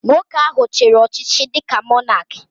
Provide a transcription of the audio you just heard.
Nwoke ahụ chiri ọchịchị dịka Mọnak